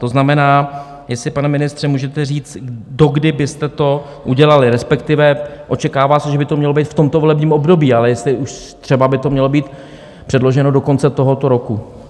To znamená, jestli, pane ministře, můžete říct, dokdy byste to udělali, respektive očekává se, že by to mělo být v tomto volebním období, ale jestli už třeba by to mělo být předloženo do konce tohoto roku.